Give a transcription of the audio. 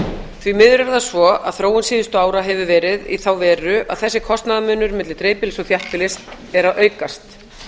því miður er það svo að þróun síðustu ára hefur verið í þá veru að þessi kostnaðarmunur milli dreifbýlis og þéttbýlis er að aukast